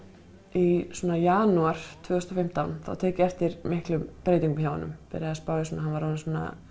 í janúar tvö þúsund og fimmtán þá tek ég eftir miklum breytingum hjá honum byrja að spá í svona hann var orðinn